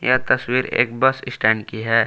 यह तस्वीर एक बस स्टैंड की है।